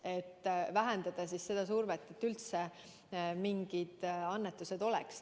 See vähendaks seda survet, et üldse mingid annetused oleks.